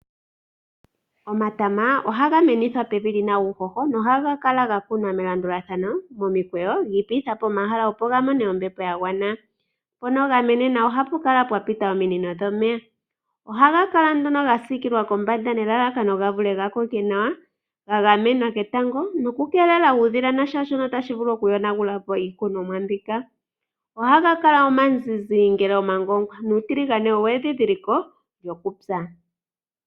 Omatama ohaga menithwa pevi lina uuhoho nohaga kala kakunwa melandulathano momikweyo giipititha po omahala opo ga mone ombepo yagwana. Mpono gamenena ohapu kala pwa pita ominino dhomeya. Ohaga kala nduno ga siikilwa kombanda nelalakano gavule gakoke nawa ga gamenwa ketango nokukeelelwa kuudhila nashaashono tashi vulu okuyonagulapo iikunomwa mbika. Ohaga kala omazizi ngele omagongwa nuutiligane owo endhidhiliko lyokupya.